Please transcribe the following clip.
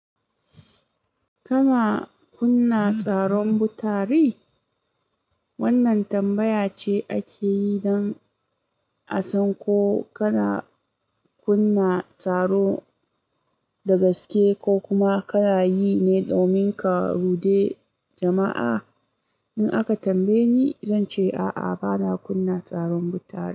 Kama kunna tsaron butari? Wannan tambaya ce ake yi don a san ko kana kunna tsaro da gaske ko kuma kana yi ne domin ka rude jama'a. In aka tambaye ni, zan ce a'a bana kunna tsaron butari.